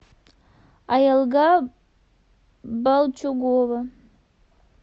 аелга балчугова